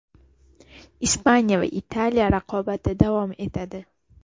Ispaniya va Italiya raqobati davom etadi.